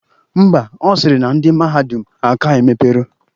Ḿbà, Ọ sịrị na ndị mahadum aka emepero